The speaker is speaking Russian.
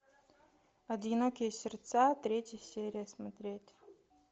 одинокие сердца третья серия смотреть